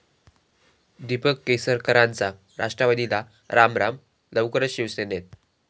दीपक केसरकरांचा राष्ट्रवादीला रामराम, लवकरचं शिवसेनेत